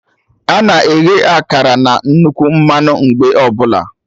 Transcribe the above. Ana eghe akara na nnukwu mmanụ mgbe ọbụla